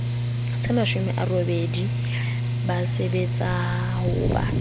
tsemashome a robedi ba sebetsahoba